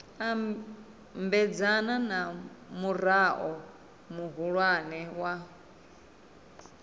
ambedzana na murao muhulwane wa